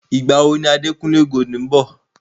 Ìgbà wo ni Adekunle Gold ń bọ̀?